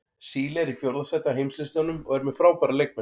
Síle er í fjórða sæti á heimslistanum og er með frábæra leikmenn.